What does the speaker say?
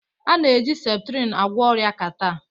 A na-eji septrin agwọ ọrịa catarh